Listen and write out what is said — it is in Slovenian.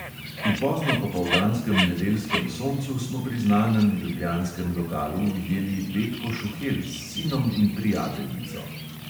V poznopopoldanskem nedeljskem soncu smo pri znanem ljubljanskem lokalu ujeli betko šuhel s sinom in prijateljico.